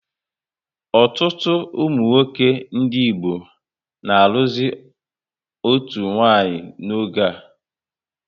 Ọtụtụ ụmụnwoke ndị Igbo na alụzi otu nwanyị n'oge a